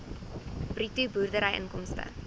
bruto boerderyinkomste